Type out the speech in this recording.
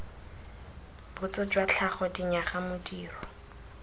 botso jwa tlhago dinyaga modiro